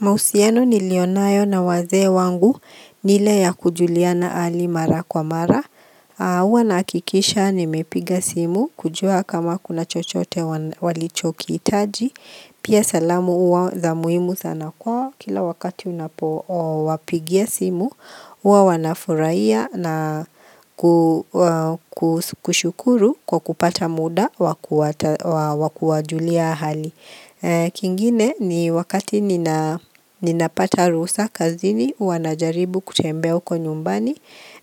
Mahusiana nilionayo na wazee wangu ni yale ya kujuliana hali mara kwa mara au Huwa nahakikisha nimepiga simu kujua kama kuna chochote walichokihitaji. Pia salamu huwa za muhimu sana kwao, kila wakati unapowapigia simu huwa wanafurahia na ku kushukuru kwa kupata muda wa kuwajulia hali. Kingine, ni wakati ninapata ruhusa kazini huwa najaribu kutembea huko nyumbani